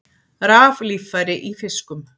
Raflíffæri í fiskum